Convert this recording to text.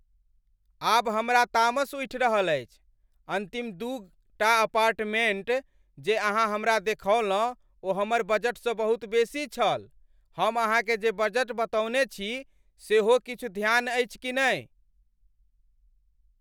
आब हमरा तामस उठि रहल अछि। अन्तिम दू टा अपार्टमेंट जे अहाँ हमरा देखौलहुँ ओ हमर बजटसँ बहुत बेसी छल। हम अहाँकेँ जे बजट बतौने छी सेहो किछु ध्यान अछि कि नहि?